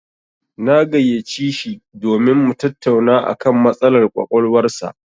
Na gayyaci shi domin mu tattauna a kan matsalar ƙwaƙwalwar sa.